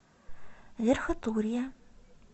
верхотурье